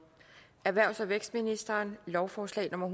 erhvervs og vækstministeren lovforslag nummer